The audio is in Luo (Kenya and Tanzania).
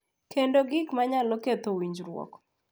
Kendo gik ma nyalo ketho winjruokgi.